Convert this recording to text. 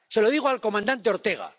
Se lo digo al comandante Ortega.